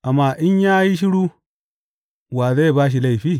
Amma in ya yi shiru, wa zai ba shi laifi?